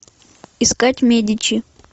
искать медичи